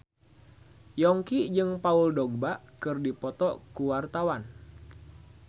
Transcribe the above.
Yongki jeung Paul Dogba keur dipoto ku wartawan